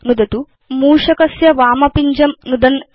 अधुना मूषकस्य वामपिञ्जं नुदन् भवतु